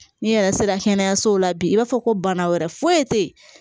N'i yɛrɛ sera kɛnɛyasow la bi i b'a fɔ ko bana wɛrɛ foyi tɛ yen